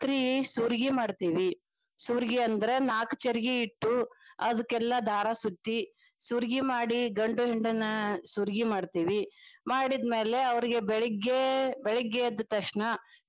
ರಾತ್ರಿ ಸುರ್ಗಿ ಮಾಡ್ತೇವಿ. ಸುರ್ಗಿ ಅಂದ್ರ ನಾಲ್ಕ ಚರಗಿ ಇಟ್ಟು ಅದಕ್ಕೆಲ್ಲಾ ದಾರ ಸುತ್ತಿ ಸುರ್ಗಿ ಮಾಡಿ ಗಂಡು ಹೆಣ್ಣನ್ನ ಸುರ್ಗಿ ಮಾಡ್ತೇವಿ ಮಾಡಿದ್ಮೇಲೆ ಅವ್ರಿಗೆ ಬೆಳಿಗ್ಗೆ ಬೆಳಿಗ್ಗೆದ್ದ ತಕ್ಷಣ.